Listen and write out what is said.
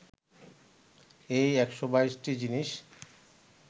এই ১২২টি জিনিস